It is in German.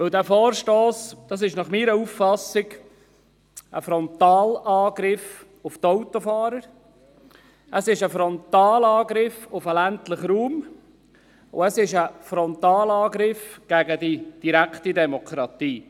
Dieser Vorstoss ist nach meiner Auffassung ein Frontalangriff auf die Autofahrer, er ist ein Frontalangriff auf den ländlichen Raum, und er ist ein Frontalangriff auf die direkte Demokratie.